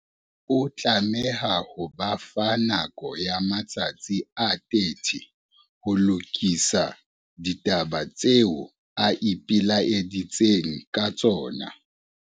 O tlameha ho ba fa nako ya matsatsi a 30 ho lokisa ditaba tseo o ipelaeditseng ka tsona.